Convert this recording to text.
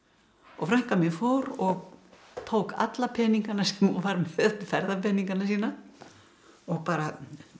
frænka mín fór og tók alla peningana sem hún var með ferðapeningana sína og bara